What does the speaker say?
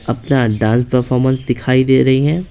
अपना dance performance दिखाई दे रही है।